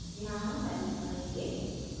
यहाँ हम तारीख भरेंगे